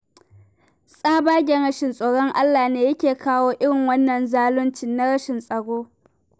Tsabagen rashin tsoron Allah ne yake kawo irin wannan zaluncin na rashin tsaro.